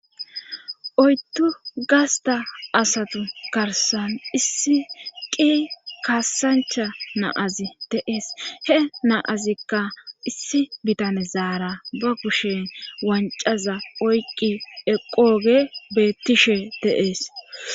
oydu gasta asatu karsan issi qi kaassancha naazi deees he naazikka issi bitane zaara ba kushen wancaza oyqi eqooge beettishe deees